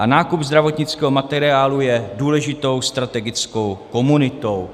A nákup zdravotnického materiálu je důležitou strategickou komunitou.